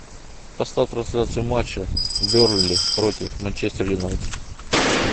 поставь трансляцию матча бернли против манчестер юнайтед